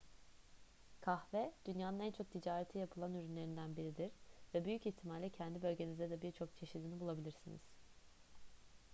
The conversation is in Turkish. kahve dünyanın en çok ticareti yapılan ürünlerinden biridir ve büyük ihtimalle kendi bölgenizde de birçok çeşidini bulabilirsiniz